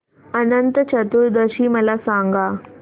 अनंत चतुर्दशी मला सांगा